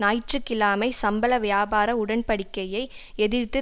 ஞாயிற்று கிழமை சம்பள வியாபார உடன்படிக்கையை எதிர்த்து